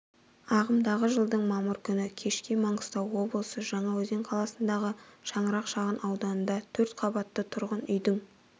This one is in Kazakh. ағымдағы жылдың мамыр күні кешке маңғыстау облысы жаңа-өзен қаласында шаңырақ шағын ауданында төрт қаббатты тұрғын үйдің